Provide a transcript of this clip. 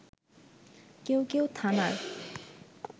কেউ কেউ থানার